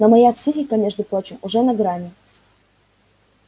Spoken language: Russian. но моя психика между прочим уже на грани